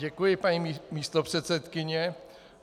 Děkuji, paní místopředsedkyně.